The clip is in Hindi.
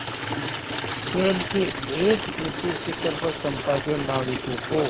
शैल के एक ऊँचे शिखर पर चंपा के नाविकों को